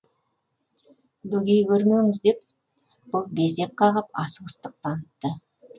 бөгей көрмеңіз деп бұл безек қағып асығыстық танытты